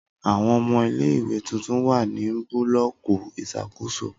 Awọn ọmọ ile-iwe tuntun wa ni bulọki iṣakoso